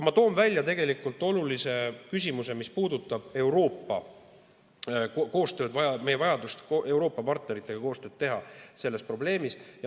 Ma toon välja olulise küsimuse, mis puudutab Euroopa koostööd, meie vajadust Euroopa partneritega koostööd teha selle probleemi puhul.